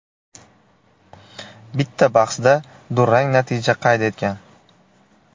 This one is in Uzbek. Bitta bahsda durang natija qayd etgan.